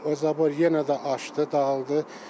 O zabor yenə də aşdı, dağıldı.